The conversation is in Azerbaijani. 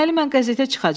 Deməli mən qəzetə çıxacam?